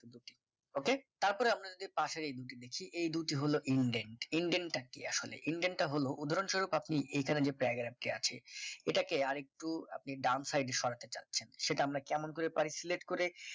okey তারপর আপনারা যে পাশের এই দুটি দেখছি এই দুটি হল intend intendt টা আসলে intend টা হলো হলো উদাহরণ স্বরূপ আপনি এখানে যে paragraph টি আছে এটাকে আর একটু ডান সাইডে সরাতে চাচ্ছেন সেটা আমরা কেমন করে পারি select করে